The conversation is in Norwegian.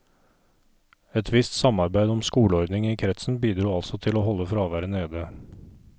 Et visst samarbeid om skoleordningen i kretsen bidro altså til å holde fraværet nede.